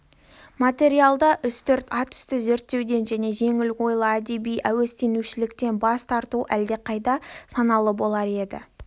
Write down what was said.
материалды үстірт ат үсті зерттеуден және жеңіл ойлы әдеби әуестенушіліктен бас тарту әлдеқайда саналылық болар еді